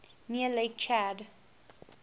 near lake chad